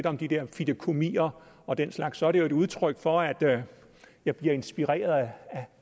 om de der fideikommiser og den slags er det jo et udtryk for at jeg jeg bliver inspireret